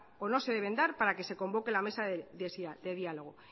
o no se deben dar para que se convoque la mesa de diálogo